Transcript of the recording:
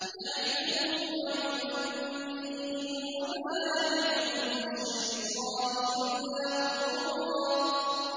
يَعِدُهُمْ وَيُمَنِّيهِمْ ۖ وَمَا يَعِدُهُمُ الشَّيْطَانُ إِلَّا غُرُورًا